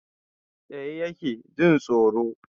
Tsaye yake, jin tsoro